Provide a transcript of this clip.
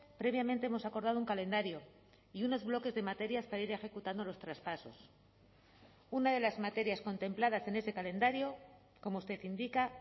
previamente hemos acordado un calendario y unos bloques de materias para ir ejecutando los traspasos una de las materias contempladas en ese calendario como usted indica